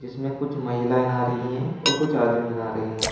इसमें कुछ महिलाएं नहा रही है और कुछ आदमी नहा रहे हैं।